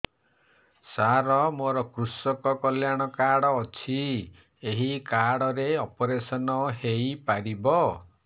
ସାର ମୋର କୃଷକ କଲ୍ୟାଣ କାର୍ଡ ଅଛି ଏହି କାର୍ଡ ରେ ଅପେରସନ ହେଇପାରିବ